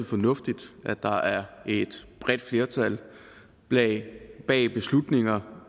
fornuftigt at der er et bredt flertal bag beslutninger